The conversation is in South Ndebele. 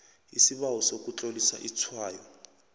isibawo sokutlolisa itshwayo